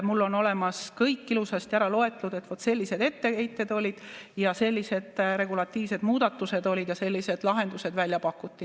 Mul on olemas kõik ilusasti ära loetletult, et vaat sellised etteheited olid ja sellised regulatiivsed muudatused olid ja sellised lahendused pakuti välja.